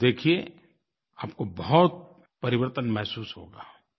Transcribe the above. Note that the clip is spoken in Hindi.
आप देखिए आपको बहुत परिवर्तन महसूस होगा